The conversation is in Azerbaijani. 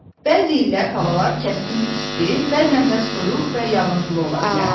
Bəzi illər havalar kəskin isti, bəzən də soyuq və yağıntılı ola bilər.